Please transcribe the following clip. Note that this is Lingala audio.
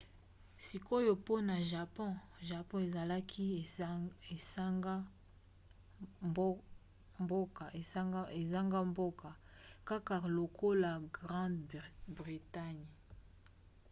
sikoyo mpona japon. japon ezalaki esanga-mboka kaka lokola grande bretagne